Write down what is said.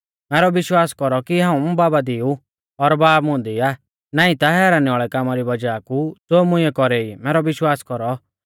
मैरौ विश्वास कौरौ की हाऊं बाबा दी ऊ और बाब मुंदी आ नाईं ता हैरानी वाल़ै कामा री वज़ाह कु ज़ो मुइंऐ कौरै ई मैरौ विश्वास कौरौ